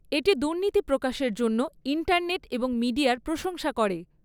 এটি দুর্নীতি প্রকাশের জন্য ইন্টারনেট এবং মিডিয়ার প্রশংসা করে।